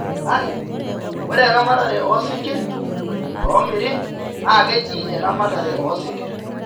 Kake, ore eramatare oo sinkirr, loomiri naa keji eramatare oo sinkirr.